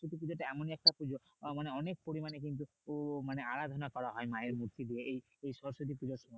সরস্বতী পূজাটা এমন একটা পুজো আহ মানে অনেক পরিমানে কিন্তু আরাধনা করা হয় মায়ের মূর্তি দিয়েএই সরস্বতী পুজোর সময়।